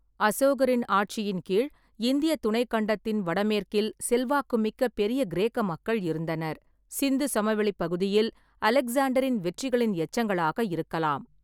அசோகரின் ஆட்சியின் கீழ் இந்தியத் துணைக்கண்டத்தின் வடமேற்கில் செல்வாக்குமிக்க, பெரிய கிரேக்க மக்கள் இருந்தனர், சிந்து சமவெளிப் பகுதியில் அலெக்சாண்டரின் வெற்றிகளின் எச்சங்களாக இருக்கலாம்.